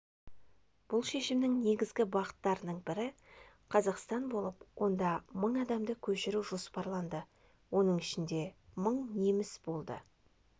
бұл шешімнің негізгі бағыттарының бірі қазақстан болып онда мың адамды көшіру жоспарланды оның ішінде мың неміс болды